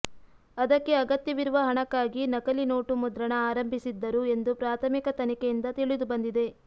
ಅದಕ್ಕೆ ಅಗತ್ಯವಿರುವ ಹಣಕ್ಕಾಗಿ ನಕಲಿ ನೋಟು ಮುದ್ರಣ ಆರಂಭಿಸಿದ್ದರು ಎಂದು ಪ್ರಾಥಮಿಕ ತನಿಖೆಯಿಂದ ತಿಳಿದುಬಂದಿದೆ